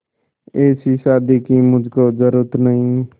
ऐसी शादी की मुझको जरूरत नहीं